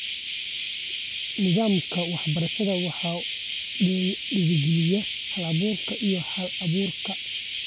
Nidaamka waxbarashada waxa uu dhiirigeliyaa hal-abuurka iyo hal-abuurka.